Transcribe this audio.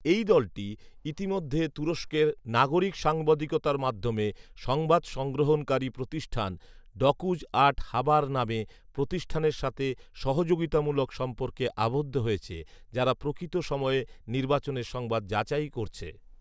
এই দলটি ইতিমধ্যে তুরস্কের নাগরিক সাংবাদিকতার মাধ্যমে সংবাদ সংগ্রহণকারী প্রতিষ্ঠান ডকুজ আট হাবার নামে প্রতিষ্ঠানের সাথে সহযোগিতামূলক সম্পর্কে আবদ্ধ হয়েছে, যারা প্রকৃত সময়ে নির্বাচনের সংবাদ যাচাই করছে